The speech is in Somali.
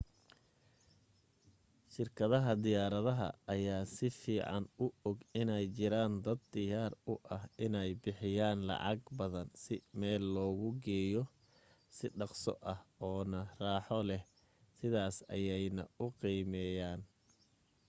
shirkadaha diyaarada ayaa si fiican u og inay jiraan dad diyaar u ah inay bixiyaan lacag badan si meel logu geeyo si dhaqso ah oo na raaxo leh sidaas ayeena u qiimeyaan